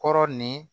Kɔrɔ ni